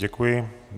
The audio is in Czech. Děkuji.